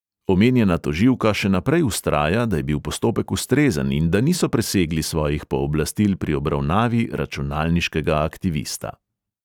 Omenjena tožilka še naprej vztraja, da je bil postopek ustrezen in da niso presegli svojih pooblastil pri obravnavi računalniškega aktivista.